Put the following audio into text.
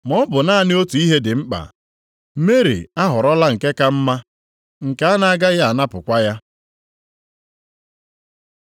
maọbụ naanị otu ihe dị mkpa, Meri ahọrọla nke ka mma, nke a na-agaghị anapụkwa ya.”